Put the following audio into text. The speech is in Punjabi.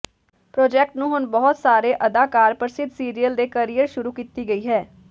ਪ੍ਰਾਜੈਕਟ ਨੂੰ ਹੁਣ ਬਹੁਤ ਸਾਰੇ ਅਦਾਕਾਰ ਪ੍ਰਸਿੱਧ ਸੀਰੀਅਲ ਦੇ ਕਰੀਅਰ ਸ਼ੁਰੂ ਕੀਤੀ ਗਈ ਹੈ